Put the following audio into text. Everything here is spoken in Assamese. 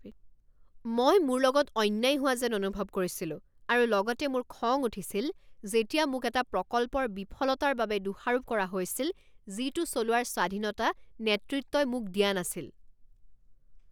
মই মোৰ লগত অন্যায় হোৱা যেন অনুভৱ কৰিছিলো আৰু লগতে মোৰ খং উঠিছিল যেতিয়া মোক এটা প্ৰকল্পৰ বিফলতাৰ বাবে দোষাৰোপ কৰা হৈছিল যিটো চলোৱাৰ স্বাধীনতা নেতৃত্বই মোক দিয়া নাছিল।